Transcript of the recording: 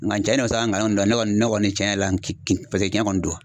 Nga tiɲɛ don sa ngalon don, ne kɔni ne kɔni tiɲɛ yɛrɛ la paseke tiɲɛ kɔni don.